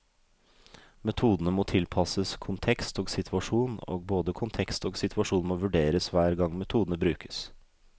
Metodene må tilpasses kontekst og situasjon, og både kontekst og situasjon må vurderes hver gang metodene brukes.